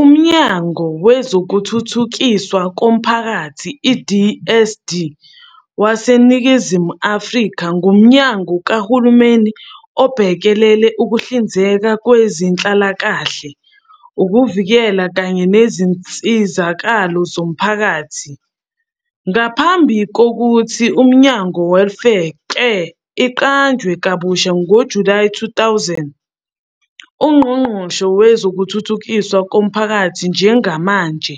UMnyango Wezokuthuthukiswa Komphakathi, i-DSD, waseNingizimu Afrika ngumnyango kahulumeni obhekele ukuhlinzeka ngezenhlalakahle, ukuvikela kanye nezinsizakalo zomphakathi. Ngaphambili ngokuthi uMnyango Welfare, ke iqanjwe kabusha ngo-July 2000. UNgqongqoshe wezokuThuthukiswa koMphakathi njengamanje